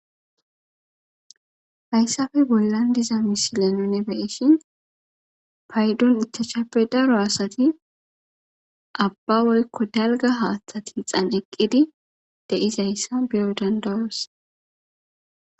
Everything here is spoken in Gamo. Haysape bollan diza misilenone nuni be7shin paydon ichashape daro asati abba woykko dalga haaththati xanciqqidi deizayssa biro dandawos